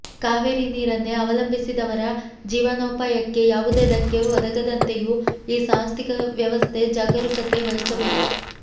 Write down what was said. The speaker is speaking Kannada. ಕಾವೇರಿ ನೀರನ್ನೇ ಅವಲಂಬಿಸಿದವರ ಜೀವನೋಪಾಯಕ್ಕೆ ಯಾವುದೇ ಧಕ್ಕೆ ಒದಗದಂತೆಯೂ ಈ ಸಾಂಸ್ಥಿಕ ವ್ಯವಸ್ಥೆ ಜಾಗರೂಕತೆ ವಹಿಸಬೇಕು